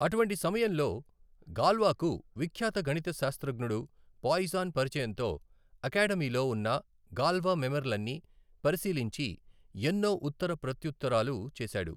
అటువంటి సమయంలో గాల్వాకు విఖ్యాత గణితశాస్త్రజ్ఞడు పాయిసన్ పరిచయంతో అకాడమీలో ఉన్న గాల్వా మెమెర్ లన్నీ పరిశీలించి ఎన్నో ఉత్తర ప్రత్ర్యుత్తరాలు చేశాడు.